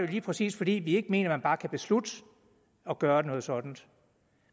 lige præcis fordi vi ikke mener at man bare kan beslutte at gøre noget sådant